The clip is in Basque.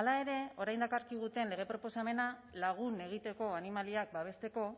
hala ere orain dakarkiguten lege proposamena lagun egiteko animaliak babesteko